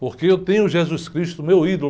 Porque eu tenho Jesus Cristo, meu ídolo.